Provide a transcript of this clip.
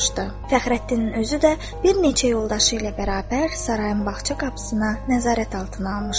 Fəxrəddinin özü də bir neçə yoldaşı ilə bərabər sarayın bağça qapısını nəzarət altına almışdı.